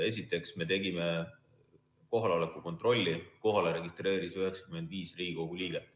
Esiteks, me tegime kohaloleku kontrolli, kohalolijaks registreerus 95 Riigikogu liiget.